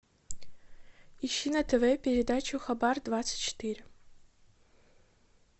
ищи на тв передачу хабар двадцать четыре